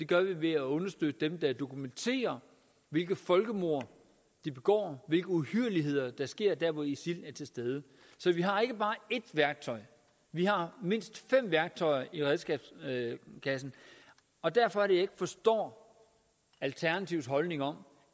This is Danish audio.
gør vi ved at understøtte dem der dokumenterer hvilke folkemord de begår og hvilke uhyrligheder der sker hvor isil er til stede så vi har ikke bare ét værktøj vi har mindst fem værktøjer i kassen og derfor er ikke forstår alternativets holdning om